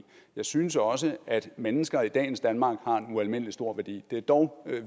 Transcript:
jeg synes også at mennesker i dagens danmark har en ualmindelig stor værdi det er dog